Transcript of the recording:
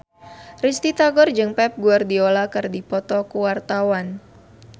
Risty Tagor jeung Pep Guardiola keur dipoto ku wartawan